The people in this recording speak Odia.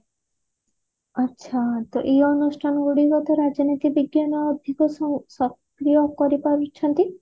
ଆଛା ତ ଏଇ ଅନୁଷ୍ଠାନ ଗୁଡିକ ତ ରାଜନୀତି ବିଜ୍ଞାନ ଅଧିକ ସ ସକ୍ରିୟ କରି ପାରୁଛନ୍ତି